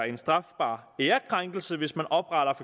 en strafbar ærekrænkelse hvis man opretter